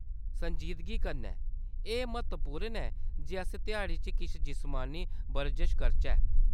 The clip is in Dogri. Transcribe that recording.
संजीदगी कन्नै, एह्‌‌ म्हत्तवपूर्ण ऐ जे अस ध्याड़ी च किश जिस्मानी बरजश करचै।